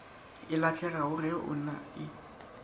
e lahlegago ge go ena